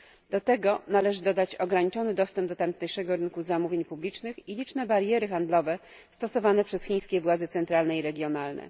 Do tego należy dodać ograniczony dostęp do tamtejszego rynku zamówień publicznych i liczne bariery handlowe stosowane przez chińskie władze centralne i regionalne.